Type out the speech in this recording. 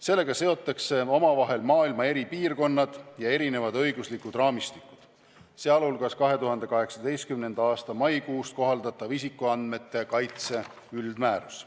Sellega seotakse omavahel maailma eri piirkonnad ja erinevad õiguslikud raamistikud, sh 2018. aasta maikuust kohaldatav isikuandmete kaitse üldmäärus.